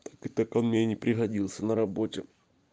так он мне и не пригодился на работе